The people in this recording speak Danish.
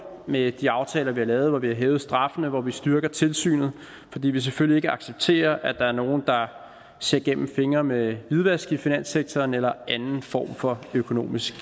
med de aftaler vi har lavet hvor vi har hævet straffene og hvor vi styrker tilsynet fordi vi selvfølgelig ikke accepterer at der er nogle der ser gennem fingre med hvidvask i finanssektoren eller anden form for økonomisk